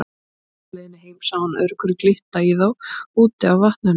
Á leiðinni heim sá hann öðru hverju glitta í þá úti á vatninu.